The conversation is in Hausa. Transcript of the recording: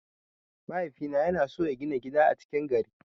Mahaifina yana son ya gina gida a cikin gari.